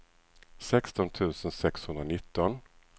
sexton tusen sexhundranitton